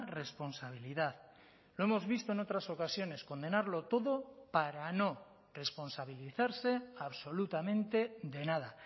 responsabilidad lo hemos visto en otras ocasiones condenarlo todo para no responsabilizarse absolutamente de nada